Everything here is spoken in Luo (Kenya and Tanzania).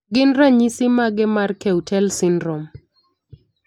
Gin ranyisis mage mar Keutel syndrome?